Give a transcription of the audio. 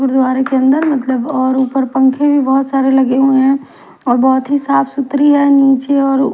और ऊपर पंखे भी बहुत सारे लगे हुए हैं और बहुत ही साफ सुथरी है नीचे और--